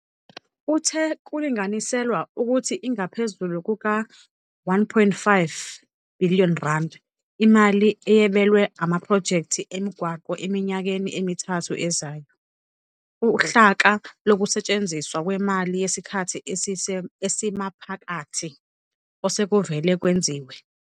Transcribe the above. Uthe kulinganiselwa ukuthi ingaphezulu kuka-R1.5 billion imali eyabelwe amaphrojekthi emigwaqo eminyakeni emithathu ezayo - uhlaka lokusetshenziswa kwemali yesikhathi esimaphakathi - osekuvele kwenziwe.